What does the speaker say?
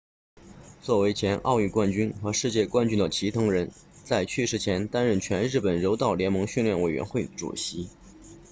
作为前奥运冠军和世界冠军的齐藤仁在去世前担任全日本柔道联盟训练委员会主席